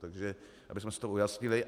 Takže abychom si to ujasnili.